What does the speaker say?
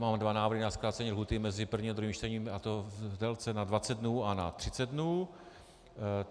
Mám dva návrhy na zkrácení lhůty mezi prvním a druhým čtením, a to v délce na 20 dnů a na 30 dnů.